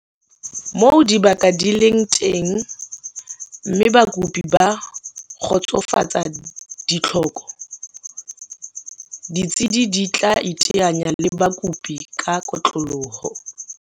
Moo dibaka di leng teng mme bakopi ba kgotsofatsa ditlhoko, ditsi di tla iteanya le bakopi ka kotloloho.